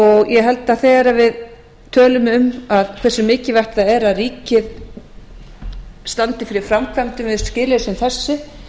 ég held að þegar við tölum um hversu mikilvægt það er að ríkið standi fyrir framkvæmdum við skilyrði sem þessi